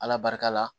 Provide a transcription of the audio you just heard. Ala barika la